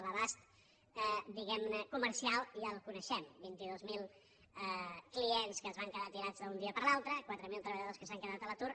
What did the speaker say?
l’abast diguem ne comercial ja el coneixem vint dos mil clients que es van quedar tirats d’un dia per l’altre quatre mil treballadors que s’han quedat a l’atur